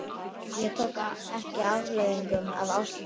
Ég tók ekki afleiðingum af ást minni.